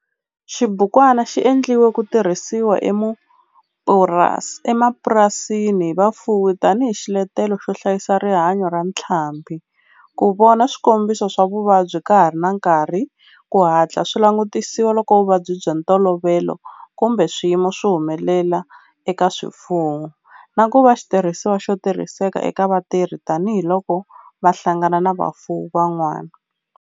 Xibukwana xi endliwe ku tirhisiwa emapurasini hi vafuwi tani hi xiletelo xo hlayisa rihanyo ra ntlhambhi, ku vona swikombiso swa vuvabyi ka ha ri na nkarhi ku hatla swi langutisiwa loko vuvabyi bya ntolovelo kumbe swiyimo swi humelela eka swifuwo, na ku va xitirhisiwa xo tirhiseka eka vatirhi tani hi loko va hlangana na vafuwi van'wana.